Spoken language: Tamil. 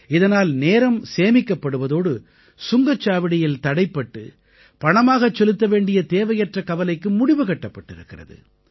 இதனால் நேரம் சேமிக்கப்படுவதோடு சுங்கச் சாவடியில் தடைப்பட்டு பணமாகச் செலுத்த வேண்டிய தேவையற்ற கவலைக்கு முடிவு கட்டப்பட்டிருக்கிறது